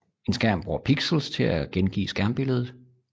En skærm bruger pixels til at gengive skærmbilledet